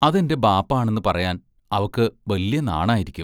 അതെന്റെ ബാപ്പാ ആണെന്ന് പറയാൻ അവക്ക് ബല്യ നാണായിരിക്കും.